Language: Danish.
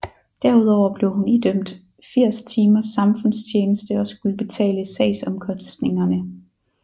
Derudover blev hun idømt 80 timers samfundstjeneste og skulle betale sagsomkostningerne